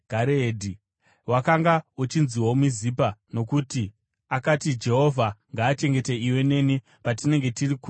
Wakanga uchinziwo Mizipa, nokuti akati, “Jehovha ngaachengete iwe neni patinenge tiri kure nokure.